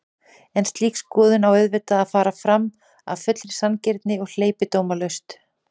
En slík skoðun á auðvitað að fara fram af fullri sanngirni og hleypidómalaust.